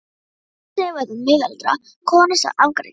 Í þetta sinn var það miðaldra kona sem afgreiddi.